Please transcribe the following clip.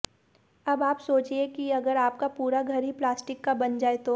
अब आप सोचिए कि अगर आपका पूरा घर ही प्लास्टिक का बन जाए तो